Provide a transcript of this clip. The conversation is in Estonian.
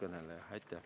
Aitäh!